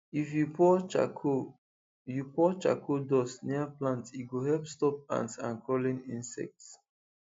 if you pour charcoal you pour charcoal dust near plant e go help stop ants and crawling insects